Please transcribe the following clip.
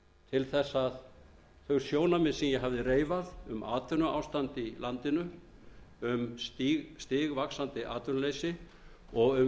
til þess að þau sjónarmið sem ég hafði reifað um atvinnuástand í landinu stigvaxandi atvinnuleysi og um